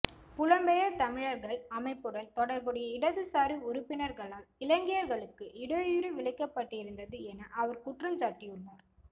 புலம்பெயர் தமிழர்கள் அமைப்புடன் தொடர்புடைய இடதுசாரி உறுப்பினர்களால் இலங்கையர்களுக்கு இடையூறு விளைவிக்கப்பட்டிருந்தது என அவர் குற்றஞ்சாட்டியுள்ளார்